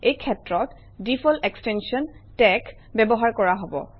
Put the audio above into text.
এই ক্ষেত্ৰত default extension তেশ ব্যৱহাৰ কৰা হব